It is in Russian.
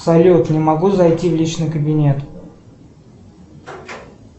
салют не могу зайти в личный кабинет